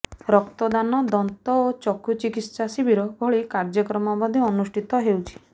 ରକ୍ତଦାନ ଦନ୍ତ ଓ ଚକ୍ଷୁ ଚିକିତ୍ସା ଶିବିର ଭଳି କାର୍ଯ୍ୟକ୍ରମ ମଧ୍ୟ ଅନୁଷ୍ଠିତ ହେଉଛି